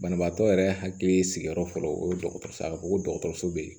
Banabaatɔ yɛrɛ hakili sigiyɔrɔ fɔlɔ o ye dɔgɔtɔrɔ ye a ko ko dɔgɔtɔrɔso bɛ yen